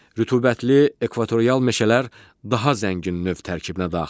Rütubətli ekvatorial meşələr daha zəngin növ tərkibinə daxildir.